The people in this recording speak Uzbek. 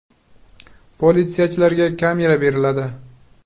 Politsiyachilarga kamera beriladi.